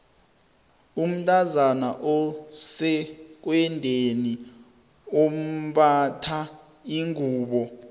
umntazana osekwendeni umbatha ingubo